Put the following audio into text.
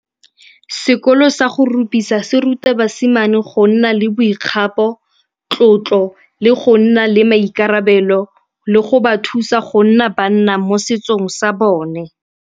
Sekolo sa go rupisa se ruta basimane go nna le boikgapo, tlotlo le go nna le maikarabelo le go ba thusa go nna banna mo setsong sa bone.